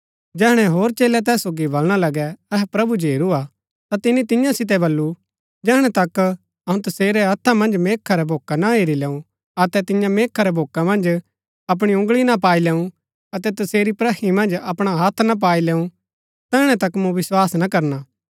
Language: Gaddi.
जैहणै होर चेलै तैस सोगी बलणा लगै अहै प्रभु जो हेरू हा ता तिनी तियां सितै बल्लू जैहणै तक अऊँ तसेरै हत्था मन्ज मेखा रै भोक्क ना हेरी लैऊँ अतै तियां मेखा रै भोक्का मन्ज अपणी उँगळी ना पाई लैऊँ अतै तसेरी प्रही मन्ज अपणा हत्थ ना पाई लैऊँ तैहणै तक मूँ विस्वास ना करना